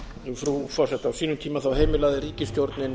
frú forseti á sínum tíma heimilaði ríkisstjórnin